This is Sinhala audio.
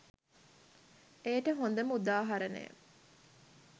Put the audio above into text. එයට හොඳම උදාහරණය